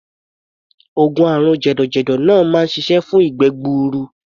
Oògùn àrùn jẹ̀dọ̀jẹ̀dọ̀ náà máa ń ṣiṣẹ́ fún ìgbẹ́ gbuuru.